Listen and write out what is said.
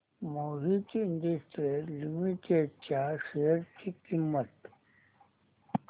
Mohit Industries Limited च्या शेअर ची किंमत